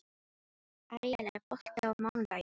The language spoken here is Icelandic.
Aríel, er bolti á mánudaginn?